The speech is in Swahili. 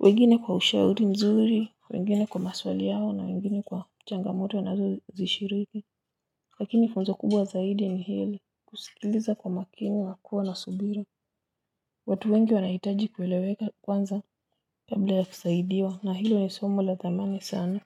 wengine kwa ushauri mzuri wengine kwa maswali yao na wengine kwa changamoto wanazozishiriki lakini funzo kubwa zaidi ni hili kusikiliza kwa makini wa kuwa na subiri watu wengi wanahitaji kueleweka kwanza. Kabla ya kusaidiwa na hilo ni somo la thamani sana.